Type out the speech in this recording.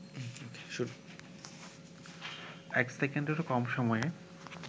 এক সেকেন্ডেরও কম সময়ে